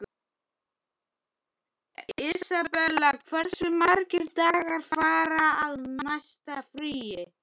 Isabella, hversu margir dagar fram að næsta fríi?